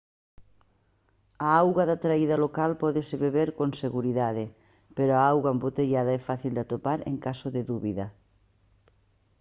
a auga da traída local pódese beber con seguridade pero a auga embotellada é fácil de atopar en caso de dúbida